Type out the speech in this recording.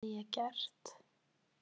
Hvað hafði ég gert?